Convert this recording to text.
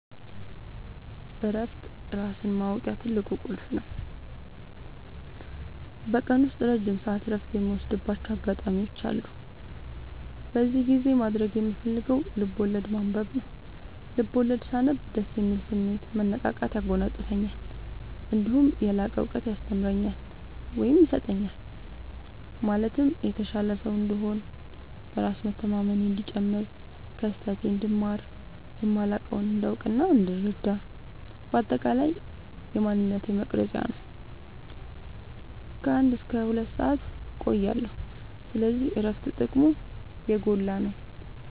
እረፍት ራስን ማወቂያ ትልቁ ቁልፍ ነው። በቀን ውስጥ ረጅም ሰዓት እረፍት የምወስድባቸው አጋጣዎች አሉ። በዚህ ጊዜ ማድረግ የምፈልገው ልብዐወለድ ማንበብ ነው፤ ልቦለድ ሳነብ ደስ የሚል ስሜት፣ መነቃቃት ያጎናፅፈኛል። እነዲሁም የላቀ እውቀት ያስተምረኛል ወይም ይሰጠኛል ማለትም የተሻለ ሰው እንድሆን፣ በራስ መተማመኔ እንዲጨምር፣ ከስህተቴ እንድማር፣ የማላውቀውን እንዳውቅናእንድረዳ በአጠቃላይ የማንነቴ መቅረጽያ ነው። ከ አንድ እስከ ሁለት ሰአት እቆያለሁ። ስለዚህ እረፍት ጥቅሙ የጎላ ነው።